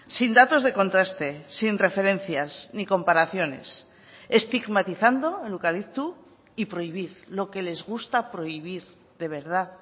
sin datos de contraste sin referencias ni comparaciones estigmatizando el eucalipto y prohibir lo que les gusta prohibir de verdad